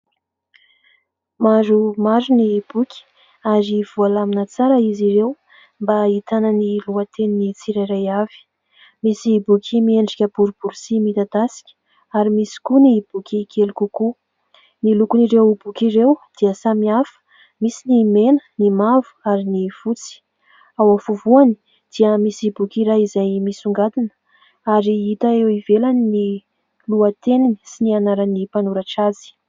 Maromaro ny boky ary voalamina tsara izy ireo mba ahitana ny lohatenin'ny tsirairay avy, misy boky miendrika boribory sy midadasika ary misy koa ny boky kely kokoa. Ny lokon'ireo boky ireo dia samy hafa, misy ny mena, ny mavo ary ny fotsy. Ao afovoany dia misy boky iray izay misongadina ary hita eo ivelany ny lohateniny sy ny anaran'ny mpanoratra azy.